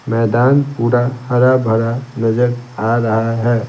मैदान पूरा हरा-भरा नजर आ रहा है।